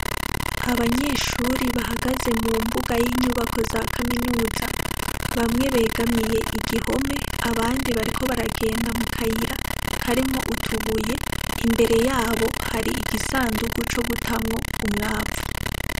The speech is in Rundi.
Abanyeshuri bahagaze mu mbuga y'inyubako za kaminuza bamwe begamiye igihome abandi bariko baragenda mu kayira karimwo utubuye imbere yabo hari igisandugu co gutamwo umwavu.